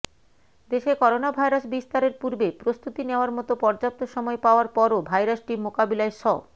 দেশে করোনাভাইরাস বিস্তারের পূর্বে প্রস্তুতি নেয়ার মত পর্যাপ্ত সময় পাওয়ার পরও ভাইরাসটি মোকাবিলায় স